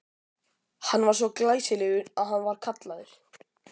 Hann var svo glæsilegur að hann var kallaður